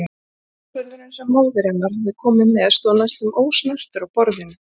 Málsverðurinn sem móðir hennar hafði komið með stóð næstum ósnertur á borðinu.